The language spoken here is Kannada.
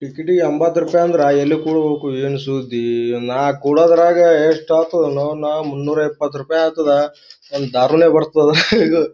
ಕಿಚಿಡಿ ಎಂಬತ್ತು ರೂಪಾಯಿ ಅಂದ್ರೆ ಎಲ್ಲಿ ಕೊಡ್ಬೇಕು ಏನ್ ಸುದ್ದಿ ಇವ್ ನಾಕ್ ಕುಡೆದಾಗ ಯೆಸ್ಟ್ ಆತುದ ಅನ್ನಾವ್ನ ಮುನ್ನೂರ್ ಎಪ್ಪತ್ ರೂಪಾಯಿ ಆಗ್ತಾದ ಒಂದ್ ದಾರುನೆ ಬರ್ತದ .